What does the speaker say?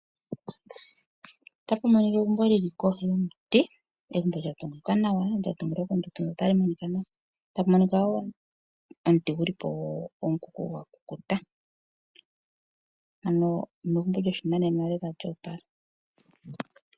Ota pu monika egumbo lili kohi yomuti. Egumbo lya tungwa nawa lya tungilwa kondundu notali monika nawa. Tapu monika wo omuti guli po omukuku gwa kukuta. Ano egumbo lyopashinanena lela lyo opala.